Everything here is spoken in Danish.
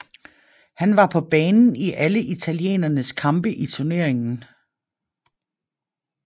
Han var på banen i alle italienernes kampe i turneringen